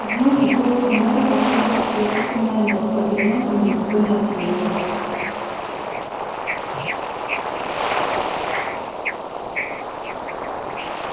и вновь в голосе мэра послышалась просительная нотка и вновь ему никто не ответил